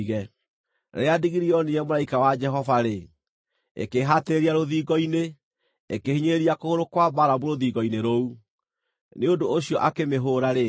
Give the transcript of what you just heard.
Rĩrĩa ndigiri yoonire mũraika wa Jehova-rĩ, ĩkĩĩhatĩrĩria rũthingo-inĩ, ĩkĩhinyĩrĩria kũgũrũ kwa Balamu rũthingo-inĩ rũu. Nĩ ũndũ ũcio akĩmĩhũũra rĩngĩ.